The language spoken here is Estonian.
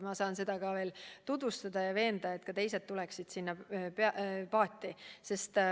Ma saan seda projekti tutvustada ja veenda, et ka teised tuleksid koos meiega sinna paati.